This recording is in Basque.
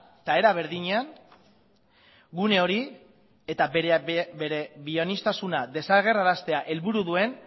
eta era berdinean gune hori eta bere bioaniztasuna desagerraraztea helburu duen